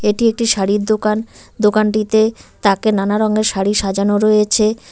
এটি একটি শাড়ির দোকান দোকানটিতে তাকে নানা রঙের শাড়ি সাজানো রয়েছে।